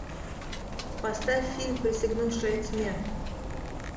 поставь фильм присягнувшая тьме